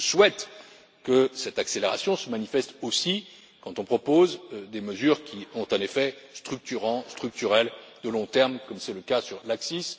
Je souhaite que cette accélération se manifeste aussi quand on propose des mesures qui ont un effet structurant, structurel, de long terme, comme c'est le cas pour l'ACCIS.